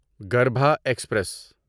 گربھا express